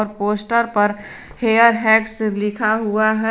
Poster पर hair hacks लिखा हुआ है।